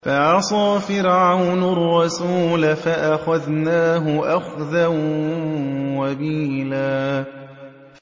فَعَصَىٰ فِرْعَوْنُ الرَّسُولَ فَأَخَذْنَاهُ أَخْذًا وَبِيلًا